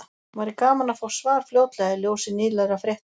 Væri gaman að fá svar fljótlega í ljósi nýlegra frétta.